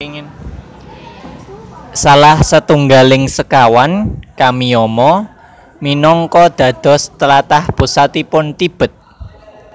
Salah satunggaling sekawan Kamiyama minangka dados tlatah pusatipun Tibet